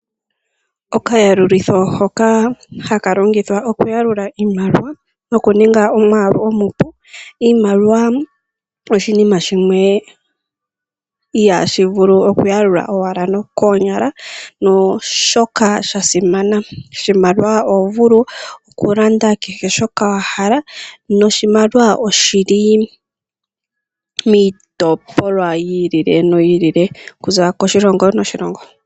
Okayalulitho hoka haka longithwa okuyalula iimaliwa nokuninga omwaalu omupu. Iimaliwa oshinima shimwe ihaashi vulu okuyalula owala nokoonyala noshoka sha simana. Oshimaliwa oho vulu okulanda kehe shoka wa hala, no shimaliwa oshili miitopolwa yi ili no yi ili okuza koshilongo noshilongo.